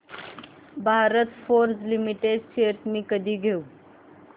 Bharat Forge limited shares मी कधी घेऊ